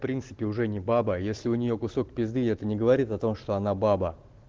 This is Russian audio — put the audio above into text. впринципе уже не баба если у нее кусок пизды это не говорит что она баба